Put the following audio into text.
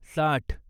साठ